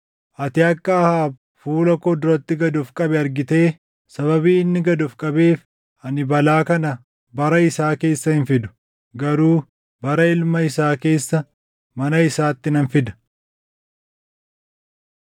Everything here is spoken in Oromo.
“Ati akka Ahaab fuula koo duratti gad of qabe argitee? Sababii inni gad of qabeef ani balaa kana bara isaa keessa hin fidu; garuu bara ilma isaa keessa mana isaatti nan fida.”